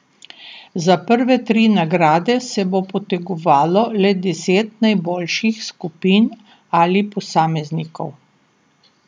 Za prve tri nagrade se bo potegovalo le deset najboljših skupin ali posameznikov.